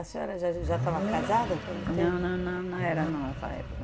A senhora já já já estava casada quando teve... Não, não, não, não era não nessa época.